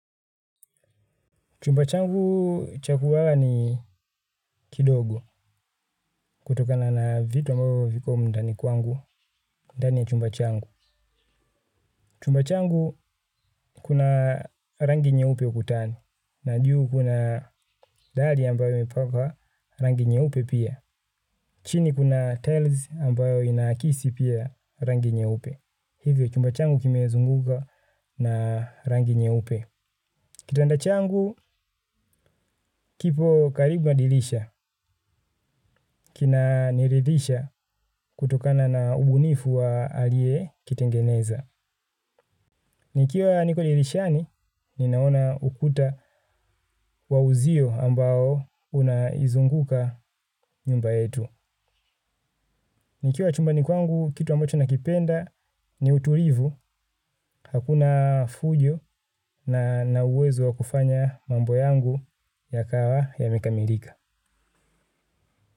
Chumba changu cha kulala ni kidogo kutokana na vitu ambavyo viko ndani kwangu, ndani ya chumba changu. Chumba changu kuna rangi nyeupe ukutani na juu kuna dari ambayo imepakwa rangi nyeupe pia. Chini kuna tiles ambayo inakisi pia rangi nyeupe. Hivyo chumba changu kimezungukwa na rangi nyeupe. Kitanda changu, kipo karibu na dilisha, kina niridhisha kutokana na ubunifu wa alie kitengeneza. Nikiwa niko dirishani, ninaona ukuta wa uzio ambao unaizunguka nyumba yetu. Nikiwa chumbani kwangu, kitu ambacho nakipenda ni uturivu, hakuna fujo na ninauwezo wa kufanya mambo yangu yakawa yamekamilika.